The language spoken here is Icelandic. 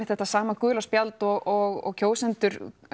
þetta sama gula spjald og kjósendur